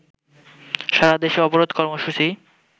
সারাদেশে অবরোধ কর্মসূচি